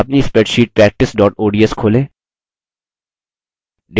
अपनी spreadsheet practice ods खोलें